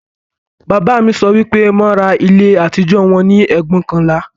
Bàbá mi sọ pé wọn ra ilé àtijọ́ wọn ní ẹgbóokànlá